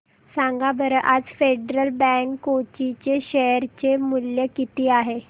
सांगा बरं आज फेडरल बँक कोची चे शेअर चे मूल्य किती आहे